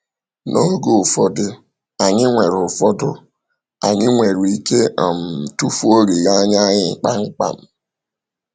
N’oge ụfọdụ, anyị nwere ụfọdụ, anyị nwere ike um tufuo olileanya anyị kpamkpam.